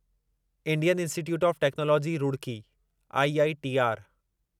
Indian Institute of Technology Roorkee IITR